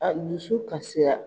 A dusu kasira.